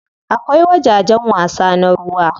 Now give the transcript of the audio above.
Akwai wajajen wasa na ruwa.